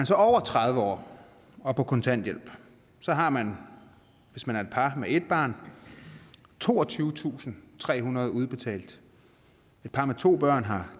så over tredive år og på kontanthjælp har man hvis man er et par med ét barn toogtyvetusinde og trehundrede kroner udbetalt et par med to børn har